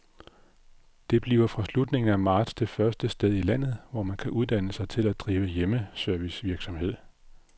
Det bliver fra slutningen af marts det første sted i landet, hvor man kan uddanne sig til at drive hjemmeservicevirksomhed.